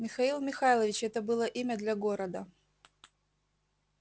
михаил михайлович это было имя для города